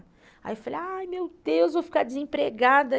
Aí eu falei, ai meu Deus, vou ficar desempregada.